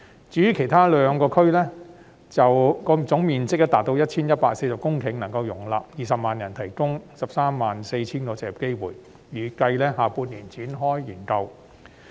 至於其餘兩區，總面積達 1,140 公頃，能夠容納20萬人居住，並提供 134,000 個就業機會，預計將於下半年展開研究。